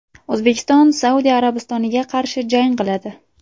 O‘zbekiston Saudiya Arabistoniga qarshi jang qiladi.